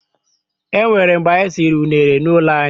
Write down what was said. E nwere mgbe anyị siri unere n'ụlọ anyị.